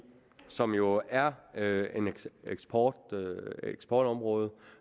som jo er er et eksportområde eksportområde